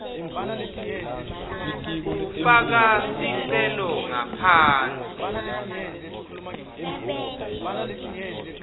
ufaka sicelo ngaphansi